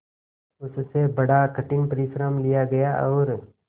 उससे बड़ा कठिन परिश्रम लिया गया और